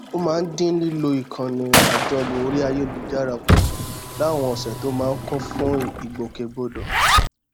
ó máa ń dín lílo ìkànnì àjọlò orí ayélujára kù láwọn òsè tó máa ń kún fún ìgbòkègbodò